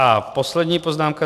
A poslední poznámka.